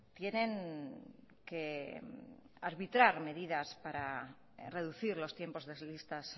tienen que arbitrar medidas para reducir los tiempos de listas